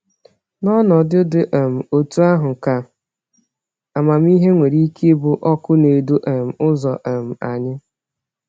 N’ọnọdụ dị um otú ahụ ka amamihe nwere ike ịbụ ọkụ na-edu um ụzọ um anyị.